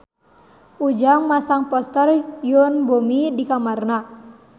Ujang masang poster Yoon Bomi di kamarna